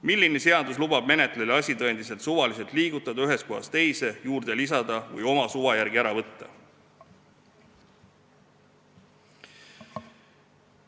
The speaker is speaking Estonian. Milline seadus lubab menetlejal asitõendeid suvaliselt ühest kohast teise liigutada, juurde lisada või oma suva järgi ära võtta?